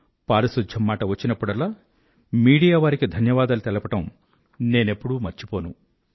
పారిశుధ్యం మాట వచ్చినప్పుడల్లా మీడియా వారికి ధన్యవాదాలు తెలపడం నేనెప్పుడూ మర్చిపోను